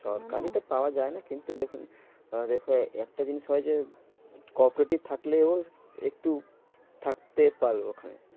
সরকারিটা পাওয়া যায় না কিন্তু যখন আহ একটা জিনিস হয় যে co-operative থাকলেও একটু থাকতে পারলো ওখানে।